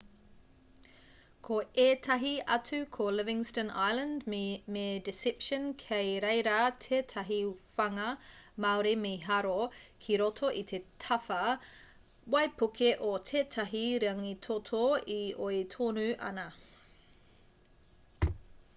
ko ētahi atu ko livingston island me deception kei reira tētahi whanga māori mīharo ki roto i te tawhā waipuke o tētahi rangitoto e oi tonu ana